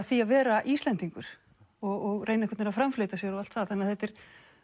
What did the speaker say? því að vera Íslendingur og reyna að framfleyta sér og allt það þetta er